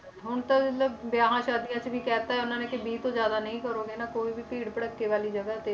ਹੁਣ ਤਾਂ ਮਤਲਬ ਵਿਆਹਾਂ ਸ਼ਾਦੀਆਂ 'ਚ ਵੀ ਕਹਿ ਦਿੱਤਾ ਇਹਨਾਂ ਨੇ ਕਿ ਵੀਹ ਤੋਂ ਜ਼ਿਆਦਾ ਨਹੀਂ ਕਰੋਗੇ ਨਾ ਕੋਈ ਵੀ ਭੀੜ ਭੜੱਕੇ ਵਾਲੀ ਜਗ੍ਹਾ ਤੇ